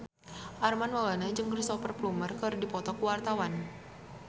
Armand Maulana jeung Cristhoper Plumer keur dipoto ku wartawan